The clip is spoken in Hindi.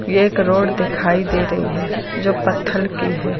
यह एक रोड दिखाई दे रही है जो पत्थर की है।